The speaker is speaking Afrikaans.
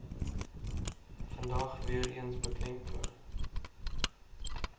vandag weereens beklemtoon